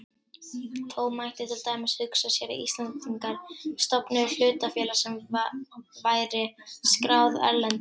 Þó mætti til dæmis hugsa sér að Íslendingar stofnuðu hlutafélag sem væri skráð erlendis.